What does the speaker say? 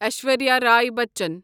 Aishwarya Rai Bachchan